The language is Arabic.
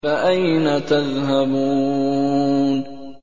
فَأَيْنَ تَذْهَبُونَ